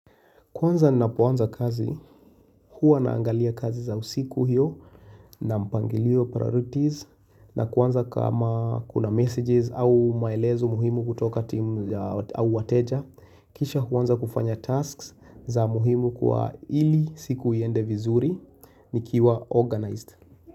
Kwanza napoanza kazi, huwa naangalia kazi za usiku hiyo na mpangiliyo priorities na kwanza kama kuna messages au maelezo muhimu kutoka team au wateja kisha huwanza kufanya tasks za muhimu kwa ili siku iende vizuri nikiwa organized.